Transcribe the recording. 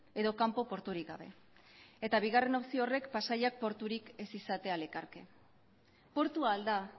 edo kanpo porturik gabe eta bigarren opzio horrek pasaiak porturik ez izatea lekarke portu al da